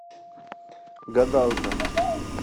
гадалка